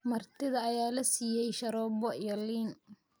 martida ayaa la siiyay sharoobo iyo liin